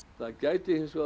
það gæti hins vegar